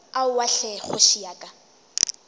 aowa hle kgoši ya ka